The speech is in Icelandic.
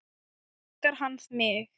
Elskar hann mig?